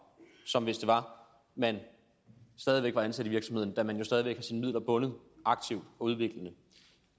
som hvis det var at man stadig væk var ansat i virksomheden da man jo stadig væk har sine midler bundet aktivt og udviklende